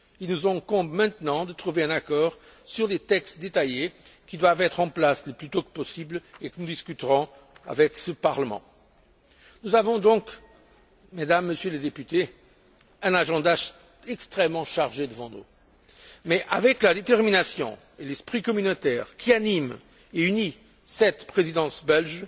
Il nous incombe maintenant de trouver un accord sur les textes détaillés qui doivent être en place le plus tôt possible et que nous discuterons avec le Parlement. Nous avons donc, Mesdames et Messieurs les députés, un agenda extrêmement chargé devant nous, mais avec la détermination et l'esprit communautaire qui animent et unissent cette présidence